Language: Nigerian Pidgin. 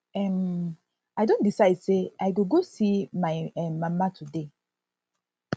um i don decide sey i go go see my um mama today